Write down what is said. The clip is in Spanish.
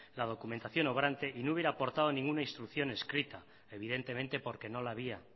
la documentación obrante y no hubiera aportado ningún instrucción escrita evidentemente porque no la había